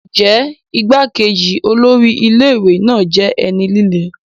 Ǹjẹ́ igbá-kejì olórí ilé ìwé náà jẹ́ ẹni líle?